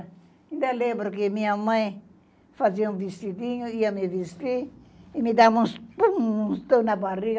Ainda lembro que minha mãe fazia um vestidinho, ia me vestir e me dava uns pum, uns tons na barriga